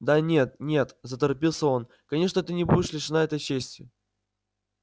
да нет нет заторопился он конечно ты не будешь лишена этой чести